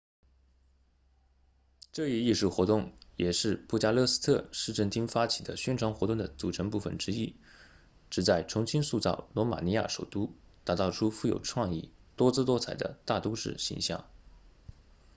这一艺术活动也是布加勒斯特市政厅发起的宣传活动的组成部分之一旨在重新塑造罗马尼亚首都打造出富有创意多姿多彩的大都市形象